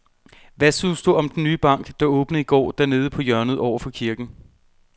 Hvad synes du om den nye bank, der åbnede i går dernede på hjørnet over for kirken?